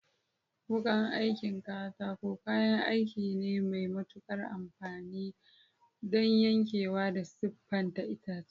Wukan aikin katako kayan aiki ne mai matuƙar amfani don yankewa da siffata itace.